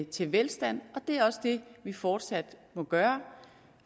til velstand og det er også det vi fortsat må gøre